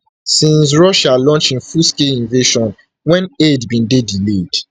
[since russia launch im fullscale invasion] wen aid bin dey delayed